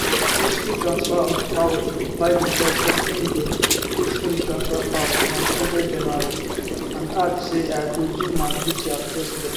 peaceful transfer of powerbiden tok say im go peacefully transfer power ontwentyjanuary and add say i go do my duty as president